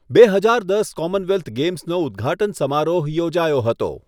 બે હજાર દસ કોમનવેલ્થ ગેમ્સનો ઉદ્ઘાટન સમારોહ યોજાયો હતો.